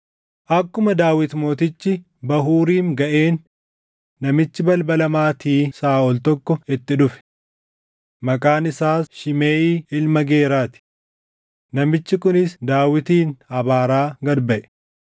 Akkuma Daawit mootichi Bahuuriim gaʼeen namichi balbala maatii Saaʼol tokko itti dhufe. Maqaan isaas Shimeʼii ilma Geeraa ti; namichi kunis Daawitin abaaraa gad baʼe.